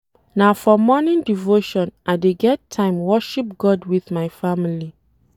Na for morning devotion I dey get time worship God wit my family.